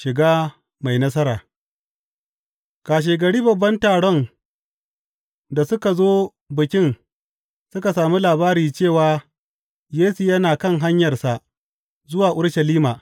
Shiga mai nasara Kashegari babban taron da suka zo Bikin suka sami labari cewa Yesu yana kan hanyarsa zuwa Urushalima.